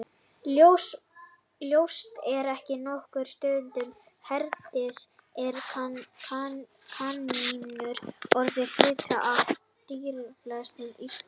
Ljóst er að á nokkrum stöðum hérlendis eru kanínur orðnar hluti af dýralífi Íslands.